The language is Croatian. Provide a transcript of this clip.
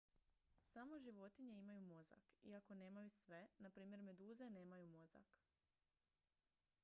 samo životinje imaju mozak iako nemaju sve; npr. meduze nemaju mozak